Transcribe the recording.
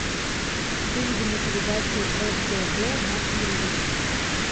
выведи мне передачу ртд на телевизоре